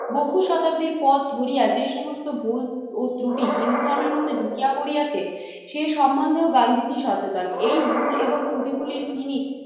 বহু শতাব্দীর পথ ধরিয়া যে সমস্ত ভুল ও ত্রুটি হিন্দু ধর্মের মধ্যে ঢুকিয়া করিয়াছে সেই সম্বন্ধেও গান্ধীজী সচেতন। এই ভুল এবং ত্রুটিগুলির তিনি